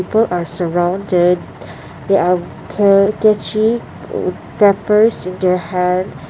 four are surrounded they have clear catche papers in their hand.